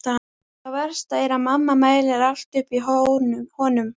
Það versta er að mamma mælir allt upp í honum.